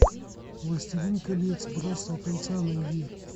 властелин колец братство кольца найди